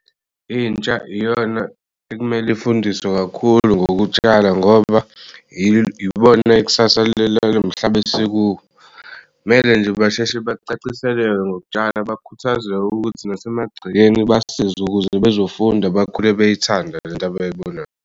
Intsha iyona ekumele ifundiswe kakhulu ngokutshala ngoba ibona ikusasa lalomhlaba esikuwo. Kumele nje basheshe bacaciseleke ngokutshala bakhuthazek'ukuthi nasemagcekeni basisze ukuze bezofunda bakhule beyithanda lent'abayibonayo.